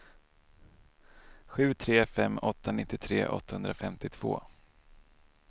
sju tre fem åtta nittiotre åttahundrafemtiotvå